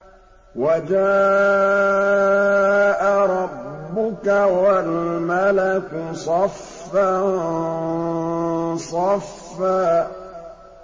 وَجَاءَ رَبُّكَ وَالْمَلَكُ صَفًّا صَفًّا